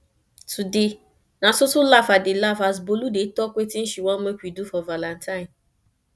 today na so so laugh i dey laugh as bolu dey talk wetin she wan make we do for valentine